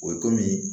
O ye komi